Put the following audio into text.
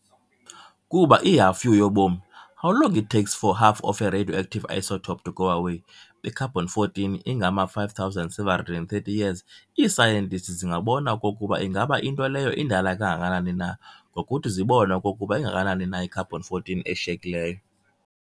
Kuba "i-halfu-yobomi", how long it takes for half of a radioactive isotope to go away, be-carbon 14 ingama-5730 years, ii-scientists zingabona okokuba ingaba into leyo indala kangakanani na ngokuthi zibone okokuba ingakanani na i-carbon 14 eshiyekileyo.